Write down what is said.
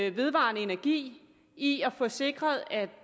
i vedvarende energi i at få sikret at